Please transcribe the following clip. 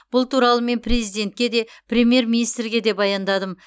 бұл туралы мен президентке де премьер министрге де баяндадым